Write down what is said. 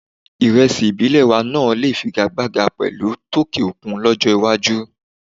Ìrẹsì ìbílẹ̀ wa náà lè figagbága pẹ̀lú tòkè òkun lọ́jọ́ iwájú.